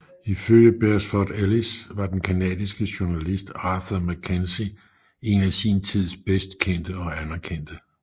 Ifølge Beresford Ellis var den canadiske journalist Arthur MacKenzie en af sin tids bedst kendte og anerkendte